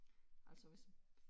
Altså hvis man